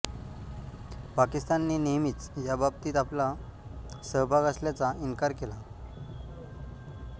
पाकिस्तानने नेहमीच या बाबतीत आपला सहभाग असल्याचा इन्कार केला